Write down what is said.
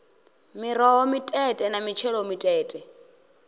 miroho mitete na mitshelo mitete